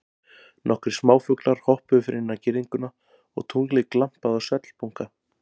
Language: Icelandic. Nokkrir smáfuglar hoppuðu fyrir innan girðinguna og tunglið glampaði á svellbunka.